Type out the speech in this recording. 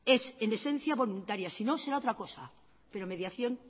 es en esencia voluntaria sino será otra cosa pero mediación